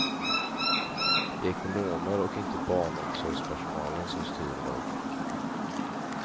Det är ekonomer och inte barnomsorgspersonalen som styr idag.